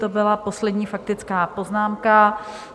To byla poslední faktická poznámka.